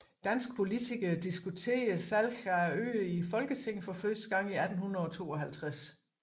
Danske politikere diskuterede salg af øerne i Folketinget for første gang i 1852